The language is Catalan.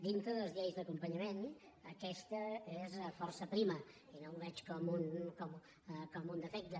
dintre de les lleis d’acompanyament aquesta és força prima i no ho veig com un defecte